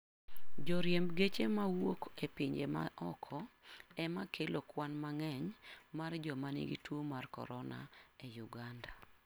Joriemb geche mawuok e pinje ma oko ema kelo kwan mang'eny mar joma nigi tuo mar corona e Uganda